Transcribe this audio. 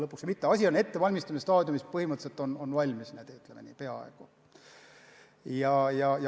Otsus on ettevalmistamise staadiumis, põhimõtteliselt valmis – ütleme nii, et peaaegu valmis.